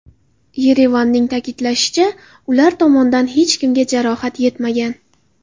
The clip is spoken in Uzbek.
Yerevanning ta’kidlashicha, ular tomondan hech kimga jarohat yetmagan.